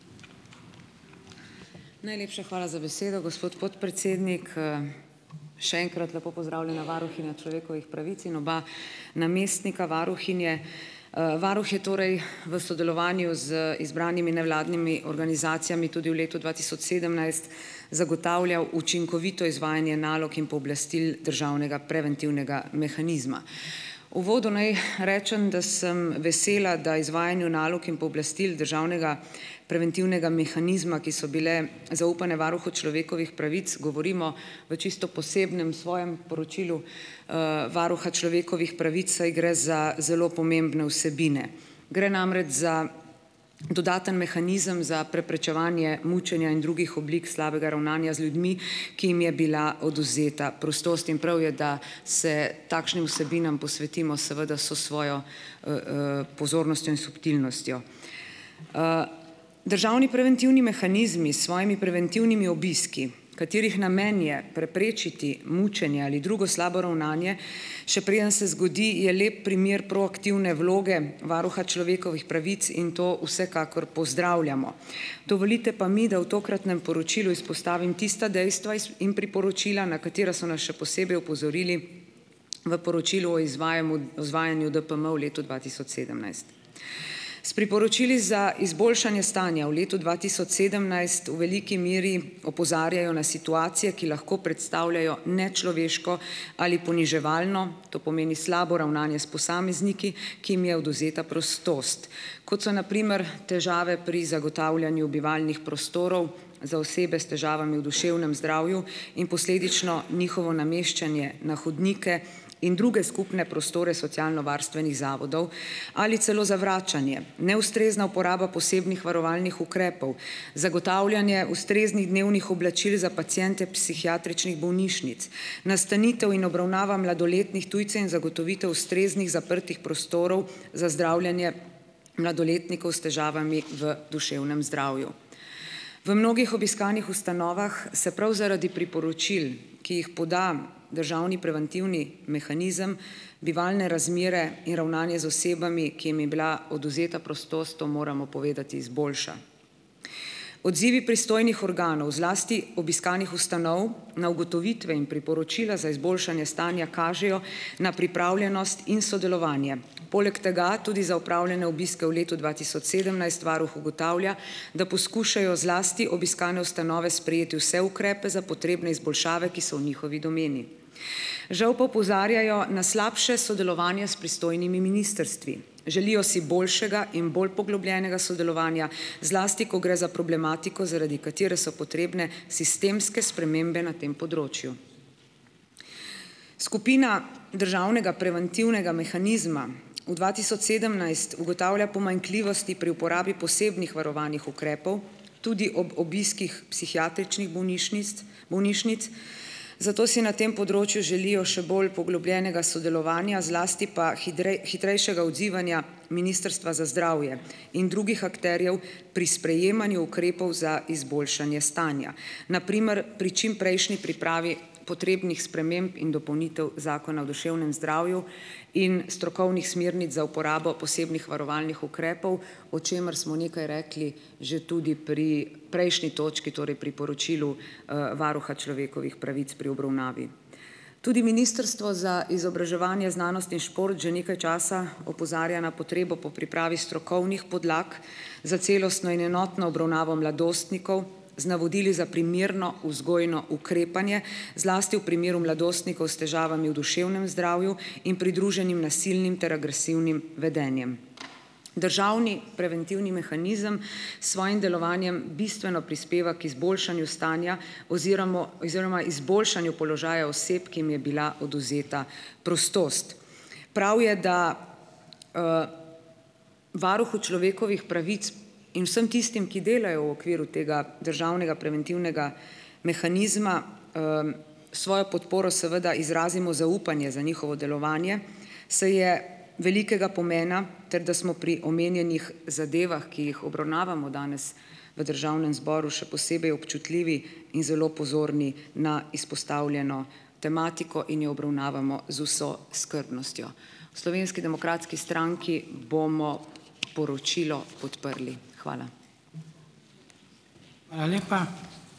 Najlepša hvala za besedo, gospod podpredsednik. Še enkrat lepo pozdravljena varuhinja človekovih pravic in oba namestnika varuhinje. Varuh je torej v sodelovanju z izbranimi nevladnimi organizacijami tudi v letu dva tisoč sedemnajst zagotavljal učinkovito izvajanje nalog in pooblastil državnega preventivnega mehanizma. Uvodu naj rečem, da sem vesela, da izvajanju nalog in pooblastil državnega preventivnega mehanizma, ki so bile zaupane varuhu človekovih pravic, govorimo v čisto posebnem svojem poročilu, varuha človekovih pravic, saj gre za zelo pomembne vsebine. Gre namreč za dodaten mehanizem za preprečevanje mučenja in drugih oblik slabega ravnanja z ljudmi, ki jim je bila odvzeta prostost, in prav je, da se takšnim vsebinam posvetimo seveda vso svojo, pozornostjo in subtilnostjo. Državni preventivni mehanizmi svojimi preventivnimi obiski, katerih namen je preprečiti mučenje ali drugo slabo ravnanje, še preden se zgodi, je lep primer proaktivne vloge varuha človekovih pravic in to vsekakor pozdravljamo. Dovolite pa mi, da v tokratnem poročilu izpostavim tista dejstva iz in priporočila, na katera so nas še posebej opozorili v poročilu o izvajanju DPM v letu dva tisoč sedemnajst. S priporočili za izboljšanje stanja v letu dva tisoč sedemnajst v veliki meri opozarjajo na situacije, ki lahko predstavljajo nečloveško ali poniževalno, to pomeni slabo ravnanje s posamezniki, ki jim je odvzeta prostost. Kot so na primer težave pri zagotavljanju bivalnih prostorov za osebe s težavami v duševnem zdravju in posledično njihovo nameščanje na hodniku in druge skupne prostore socialnovarstvenih zavodov ali celo zavračanje, neustrezna uporaba posebnih varovalnih ukrepov, zagotavljanje ustreznih dnevnih oblačil za paciente psihiatričnih bolnišnic, nastanitev in obravnava mladoletnih tujcev in zagotovitev ustreznih zaprtih prostorov za zdravljenje mladoletnikov s težavami v duševnem zdravju. V mnogih obiskanih ustanovah se prav zaradi priporočil, ki jih poda državni preventivni mehanizem, bivalne razmere in ravnanje z osebami, ki jim je bila odvzeta prostost, to moramo povedati, izboljša. Odzivi pristojnih organov, zlasti obiskanih ustanov, na ugotovitve in priporočila za izboljšanje stanja kažejo na pripravljenost in sodelovanje. Poleg tega tudi za opravljene obiske v letu dva tisoč sedemnajst varuh ugotavlja, da poskušajo zlasti obiskane ustanove sprejeti vse ukrepe za potrebne izboljšave, ki so v njihovi domeni. Žal pa opozarjajo na slabše sodelovanje s pristojnimi ministrstvi. Želijo si boljšega in bolj poglobljenega sodelovanja, zlasti ko gre za problematiko, zaradi katere so potrebne sistemske spremembe na tem področju. Skupina državnega preventivnega mehanizma v dva tisoč sedemnajst ugotavlja pomanjkljivosti pri uporabi posebnih varovalnih ukrepov, tudi ob obiskih psihiatričnih bolnišnic bolnišnic, zato si na tem področju želijo še bolj poglobljenega sodelovanja, zlasti pa hitrejšega odzivanja Ministrstva za zdravje in drugih akterjev pri sprejemanju ukrepov za izboljšanje stanja, na primer pri čimprejšnji pripravi potrebnih sprememb in dopolnitev Zakona o duševnem zdravju in strokovnih smernic za uporabo posebnih varovalnih ukrepov, o čemer smo nekaj rekli že tudi pri prejšnji točki, torej pri poročilu, varuha človekovih pravic pri obravnavi. Tudi Ministrstvo za izobraževanje, znanost in šport že nekaj časa opozarja na potrebo po pripravi strokovnih podlag za celostno in enotno obravnavo mladostnikov, z navodili za primerno vzgojno ukrepanje, zlasti v primeru mladostnikov s težavami v duševnem zdravju in pridruženim nasilnim ter agresivnim vedenjem. Državni preventivni mehanizem s svojim delovanjem bistveno prispeva k izboljšanju stanja oziromo oziroma izboljšanju položaja oseb, ki jim je bila odvzeta prostost. Prav je, da varuhu človekovih pravic in vsem tistim, ki delajo v okviru tega državnega preventivnega mehanizma, svojo podporo seveda izrazimo zaupanje za njihovo delovanje, saj je velikega pomena, ter da smo pri omenjenih zadevah, ki jih obravnavamo danes v državnem zboru, še posebej občutljivi in zelo pozorni na izpostavljeno tematiko in jo obravnavamo z vso skrbnostjo. V Slovenski demokratski stranki bomo poročilo podprli. Hvala.